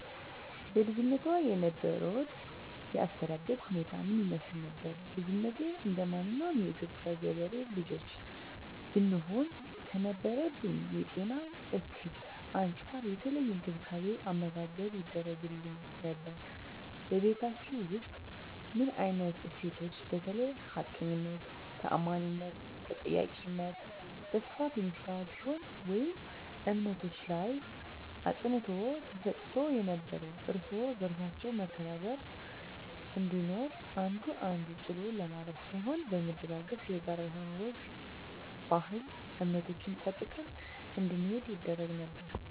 በልጅነትዎ የነበሮት የአስተዳደግ ሁኔታ ምን ይመስል ነበር? ልጅነቴ እንደማንኛውም የኢትዮጵያ ገበሬ ልጆች ብሆንም ከነበረብኝ የጤና እክል አንፃር የተለየ እንክብካቤ አመጋገብ ይደረግግልኝ ነበር በቤታቹ ውስጥ ምን አይነት እሴቶች በተለይ ሀቀኝነት ታአማኒትና ተጠያቂነት በስፋት የሚስተዋል ሲሆን ወይም እምነቶች ላይ አፅንዖት ተሰጥቶ ነበረው እርስ በርሳችን መከባበር መቻቻል እንዲኖር አንዱ አንዱን ጥሎ ለማለፍ ሳይሆን በመደጋገፍ የጋራ የሆኑ ወግ ባህል እምነቶችን ጠብቀን እንድንሄድ ይደረግ ነበር